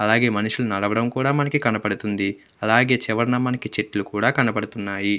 అలాగే మనుషులు నడవడం కూడా కనబడుతుంది. అలాగే చివరన మనకి చెట్లు కూడా కనపడుతున్నాయి.